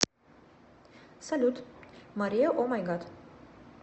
салют мария омайгад